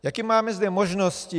Jaké máme zde možnosti?